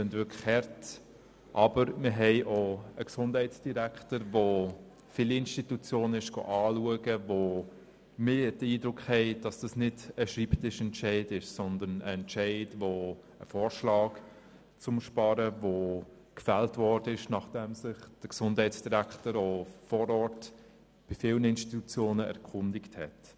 Aber unser Gesundheitsdirektor hat viele Institutionen besucht, und wir haben den Eindruck, dass es sich hier nicht um einen Schreibtischentscheid handelt, sondern um einen Vorschlag, der unterbreitet worden ist, nachdem sich der Gesundheitsdirektor bei vielen Institutionen vor Ort erkundigt hat.